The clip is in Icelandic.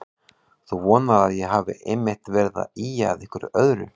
Þú vonar að ég hafi einmitt verið að ýja að einhverju öðru.